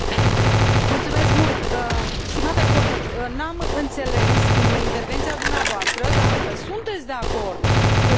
Stimate coleg, n am înțeles din intervenția dumneavoastră dacă sunteți de acord cu liste transnaționale sau nu?